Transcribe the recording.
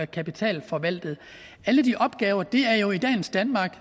kapital forvaltet alle de opgaver er jo i dagens danmark